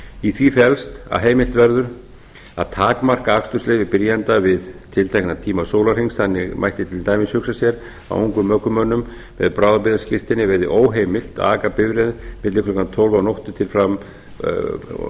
í því felst að heimilt verður að takmarka akstursleyfi byrjanda við tiltekna tíma sólarhrings þannig mætti til dæmis hugsa sér að ungum ökumönnum með bráðabirgðaskírteini verði óheimilt að aka bifreið milli klukkan tólf að